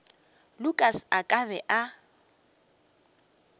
lukas a ka be a